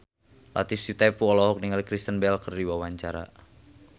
Latief Sitepu olohok ningali Kristen Bell keur diwawancara